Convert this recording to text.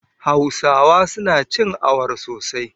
Hausawa suna cin awara sosai.